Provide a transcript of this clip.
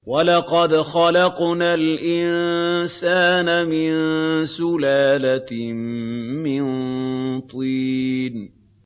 وَلَقَدْ خَلَقْنَا الْإِنسَانَ مِن سُلَالَةٍ مِّن طِينٍ